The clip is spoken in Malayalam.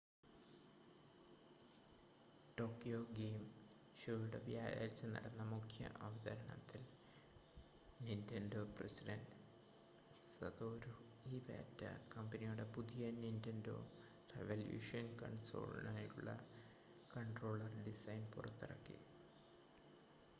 ടോക്കിയോ ഗെയിം ഷോയുടെ വ്യാഴാഴ്ച നടന്ന മുഖ്യ അവതരണത്തിൽ നിൻ്റെൻഡോ പ്രസിഡൻ്റ് സതോരു ഇവാറ്റ കമ്പനിയുടെ പുതിയ നിൻ്റെൻഡോ റെവല്യൂഷൻ കൺസോളിനായുള്ള കൺട്രോളർ ഡിസൈൻ പുറത്തിറക്കി